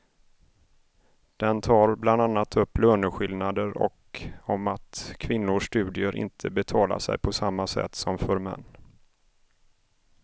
Den tar bland annat upp löneskillnader och om att kvinnors studier inte betalar sig på samma sätt som för män.